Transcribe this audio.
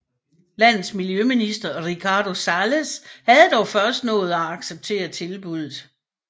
Landets miljøminister Ricardo Salles havde dog først nået at acceptere tilbuddet